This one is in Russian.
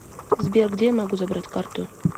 сбер где я могу забрать карту